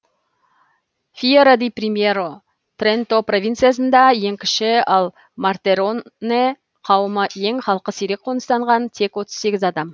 фьера ди примьеро тренто провинциясында ең кіші ал мортероне кауымы ең халқы сирек қоныстанған тек отыз сегіз адам